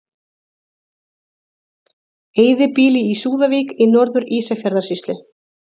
Eyðibýli í Súðavík í Norður-Ísafjarðarsýslu.